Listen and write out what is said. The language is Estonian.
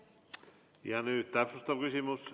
Nüüd täpsustav küsimus.